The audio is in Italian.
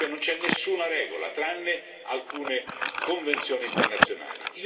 non c'è nessuna regola, tranne alcune convenzioni internazionali.